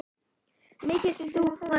Gæti þetta verið þeirra ár?